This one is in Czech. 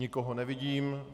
Nikoho nevidím.